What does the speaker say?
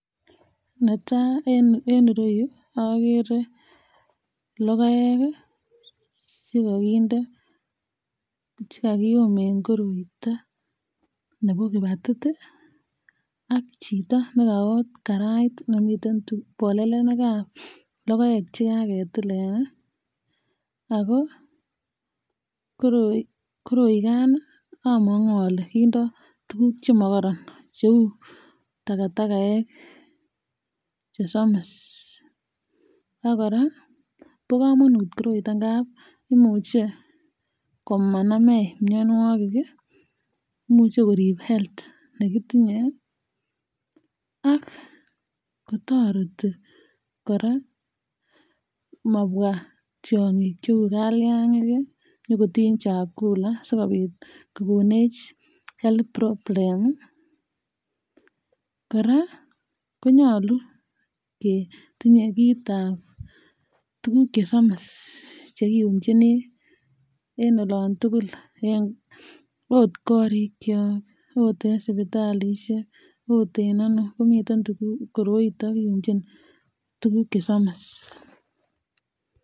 Netai en irou agere logoek che kokinde che kakium en koroitoo nebo kibatit ak chito ne kaot karait nemiten um bolelenikab logoek chekaketilen ii ago koroi koroikan ii amaku ale kindoo tuguk che mokoron che takatakaek chesomis ak koraa bo komonut koroitoo ab imuche komanamech mionwogik ii imuche korib [health] negitinye ak kotoreti koraa ko mabwa tiongik cheu kaliangik nyingotin chakula sikobit kokonech health problem ,koraa konyolu ketinyee kitab tuguk chesomis che kiumchinii en oloon tuguk ot korikyok ot sipitalushek ot en ano komiten tuguk koroitoo kiumchin tuguk chesomis.